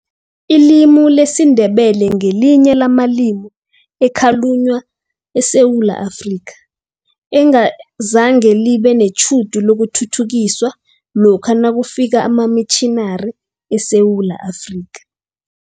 Ilimi lesiNdebele ngelinye lamalimi ekhalunywa eSewula Afrika, engazange libe netjhudu lokuthuthukiswa lokha nakufika amamitjhinari eSewula Afrika.